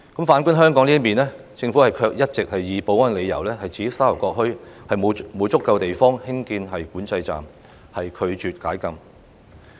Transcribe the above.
反觀香港，政府卻一直也以保安理由，指沙頭角墟沒有足夠地方興建管制站，拒絕解禁。